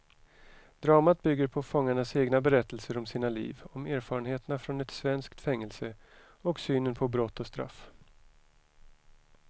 Dramat bygger på fångarnas egna berättelser om sina liv, om erfarenheterna från ett svenskt fängelse och synen på brott och straff.